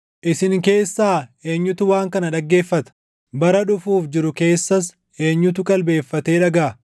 Isin keessaa eenyutu waan kana dhaggeeffata? Bara dhufuuf jiru keessas eenyutu qalbeeffatee dhagaʼa?